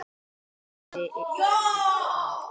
Hugsið ykkur það.